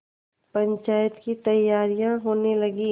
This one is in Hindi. पंचायत की तैयारियाँ होने लगीं